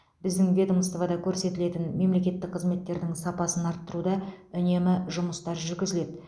біздің ведомствода көрсетілетін мемлекеттік қызметтердің сапасын арттыруда үнемі жұмыстар жүргізіледі